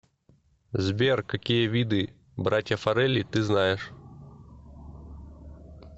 сбер какие виды братья фаррелли ты знаешь